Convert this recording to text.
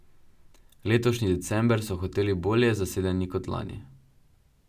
Letošnji december so hoteli bolje zasedeni kot lani.